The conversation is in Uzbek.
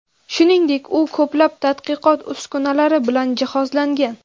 Shuningdek, u ko‘plab tadqiqot uskunalari bilan jihozlangan.